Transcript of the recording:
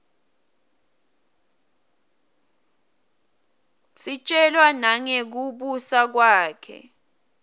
sitjelwa nangekubusa kwakhe